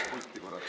Astu pulti!